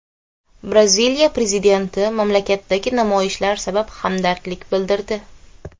Braziliya prezidenti mamlakatdagi namoyishlar sabab hamdardlik bildirdi.